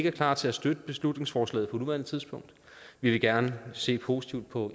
er klar til at støtte beslutningsforslaget på nuværende tidspunkt vi vil gerne se positivt på